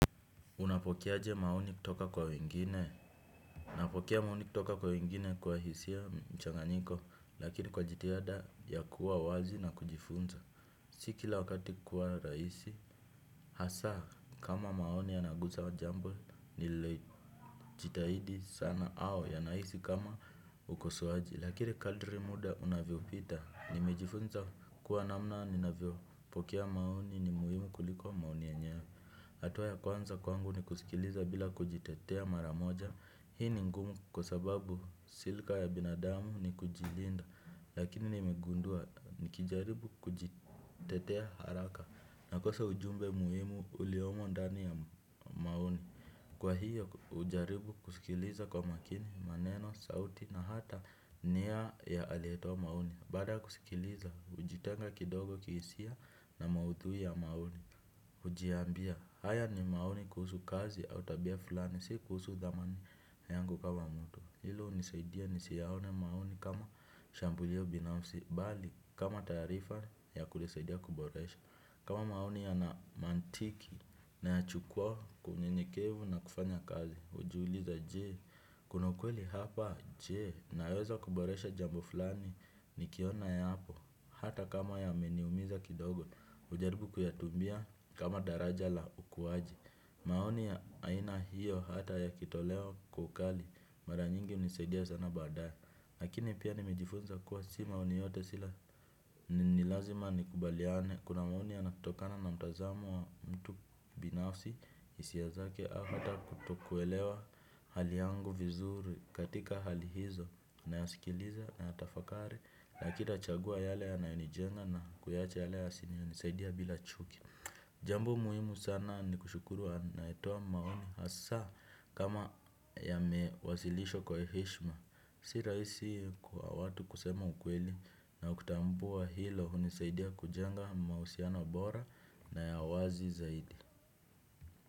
Unapokea aje maoni kutoka kwa wengine? Unapokea maoni kutoka kwa wengine kwa hisia mchanganyiko, lakini kwa jitihada ya kuwa wazi na kujifunza. Si kila wakati kuwa rahisi, hasa kama maoni yanayogusa jambo, nililojitahidi sana au yanahisi kama ukosoaji. Lakini kadri muda unavyopita, nimejifunza kuwa namna ninavyo. Pokea maoni ni muhimu kuliko maoni yenyewe. Hatua ya kwanza kwangu ni kusikiliza bila kujitetea mara moja. Hii ni ngumu kwa sababu silka ya binadamu ni kujilinda. Lakini nimegundua nikijaribu kujitetea haraka nakosa ujumbe muhimu uliomo ndani ya maoni. Kwa hiyo, hujaribu kusikiliza kwa makini, maneno, sauti na hata nia ya aliyetoa maoni. Baada ya kuskiliza, hujitenga kidogo kihisia na maudhui ya maoni hujiambia, haya ni maoni kuhusu kazi au tabia fulani, si kuhusu dhamani yangu kama mtu, hilo unisaidia nisiyaone maoni kama shambulio binafsi, mbali kama taarifa ya kujisaidia kuboresha. Kama maoni yana mantiki nayachukua kwa unyenyekevu na kufanya kazi. Hujiuliza je? Kuna ukweli hapa? Je? Naweza kuboresha jambo fulani nikiona yapo, hata kama yameniumiza kidogo hujaribu kuyatumia kama daraja la ukuwaji. Maoni ya aina hiyo hata yakitolewa kwa ukali mara nyingi unisaidia sana baadaye. Lakini pia nimejifunza kuwa si maoni yote sila ni lazima nikubaliane, kuna maoni yanatokana na mtazamo wa mtu binafsi, hisia zake, hata kutokuelewa hali yangu vizuri, katika hali hizo nayasikiliza nayatafakari lakini nachagua yale yanayonijenga na kuyaacha yale yasiyo nisaidia bila chuki jambo muhimu sana ni kushukuru anayetoa maoni hasa kama yamewasilishwa kwa heshima si rahisi kwa watu kusema ukweli na kutambua hilo unisaidia kujenga mahusiano bora na ya wazi zaidi.